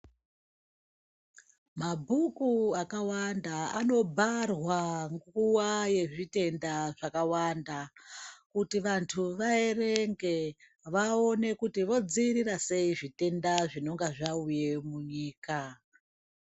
Mabhuku akawanda anobharwa nguwa yezvitenda zvakawanda kuti vantu vaerenge vaone kuti vodzivirira zvitenda zvinenge zvauya munyika.